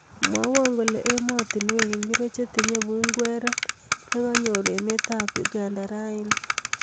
Mwawon kole ematinwek ngircho chetinye punguruet neganyor emetab Uganda rauni